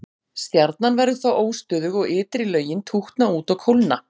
Stjarnan verður þá óstöðug og ytri lögin tútna út og kólna.